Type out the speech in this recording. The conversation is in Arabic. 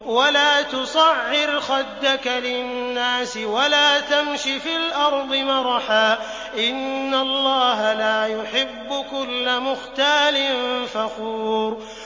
وَلَا تُصَعِّرْ خَدَّكَ لِلنَّاسِ وَلَا تَمْشِ فِي الْأَرْضِ مَرَحًا ۖ إِنَّ اللَّهَ لَا يُحِبُّ كُلَّ مُخْتَالٍ فَخُورٍ